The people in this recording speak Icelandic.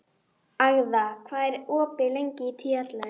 Agða, hvað er opið lengi í Tíu ellefu?